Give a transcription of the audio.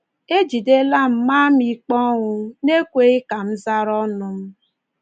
“E jidela ma maa m ikpe ọnwụ n’ekweghị ka m zara ọnụ m.